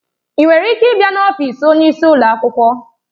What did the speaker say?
Ị nwere ike ịbịa n'ọfịs onyeisi ụlọ akwụkwọ?